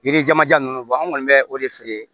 Yirijamanjan ninnu an kɔni bɛ o de feere